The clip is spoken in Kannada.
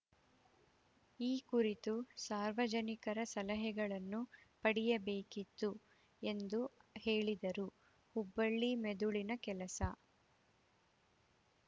ಈ ಕುರಿತು ಸಾರ್ವಜನಿಕರ ಸಲಹೆಗಳನ್ನು ಪಡೆಯಬೇಕಿತ್ತು ಎಂದು ಹೇಳಿದರು ಹುಬ್ಬಳ್ಳಿ ಮೆದುಳಿನ ಕೆಲಸ